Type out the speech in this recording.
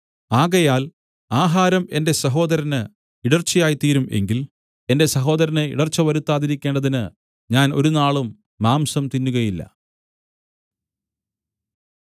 ആകയാൽ ആഹാരം എന്റെ സഹോദരന് ഇടർച്ചയായിത്തീരും എങ്കിൽ എന്റെ സഹോദരന് ഇടർച്ച വരുത്താതിരിക്കേണ്ടതിന് ഞാൻ ഒരുനാളും മാംസം തിന്നുകയില്ല